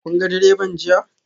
Kun ga direban jiya?